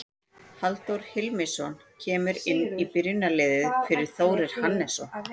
Halldór Hilmisson kemur inn í byrjunarliðið fyrir Þórir Hannesson.